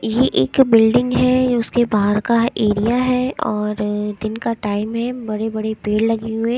ये एक बिल्डिंग है उसके बहर का एरिया है और दिन का टाइम है बड़े-बड़े पेड़ लगे हुए--